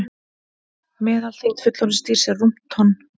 Meðalþyngd fullorðins dýrs er rúmt tonn.